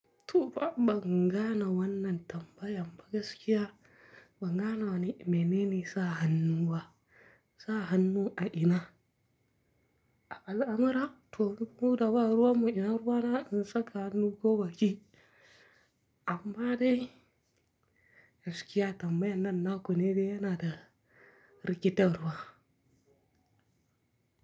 Tofa ban gane wannan tambayan ba gaskiya, ban gane wane mene ne sa hannu ba, sa hannu a ina. A al'amara to muna da ba ruwan mu in ruwa na in saka hannu ko baki. Amma dai gaskiya tambayan nan na ku ne dai yana da rikitarwa.